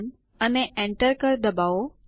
TXT અને Enter ડબાઓ